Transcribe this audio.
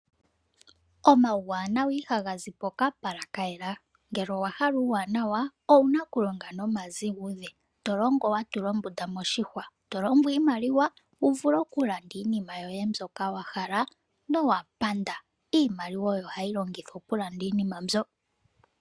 Omauwanawa ihaga zi poka pala kayela, ngele owahala uuwanawa owuna oku longa noma ziguze, tolongo wa tula ombunda moshihwa, tolongo iimaliwa wuvule oku landa iinima yoye mbyoka wahala nowapanda. Iimaliwa oyo hayi longithwa oku landa iinima mbyoka.